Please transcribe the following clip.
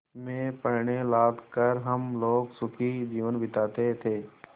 में पण्य लाद कर हम लोग सुखी जीवन बिताते थे